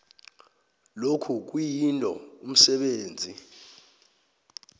lokhu kuyinto umsebenzi